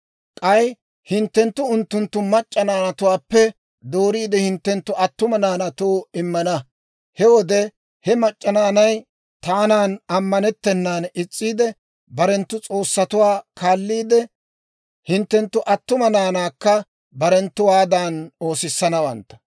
K'ay hinttenttu unttunttu mac'c'a naanatuwaappe dooriide, hinttenttu attuma naanaatoo immana; he wode he mac'c'a naanay taanan ammanettennaan is's'iide, barenttu s'oossatuwaa kaalliidde, hinttenttu attuma naanaakka barenttuwaaddan oosissanawantta.